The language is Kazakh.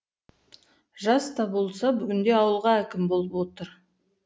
жас та болса бүгінде ауылға әкім болып отыр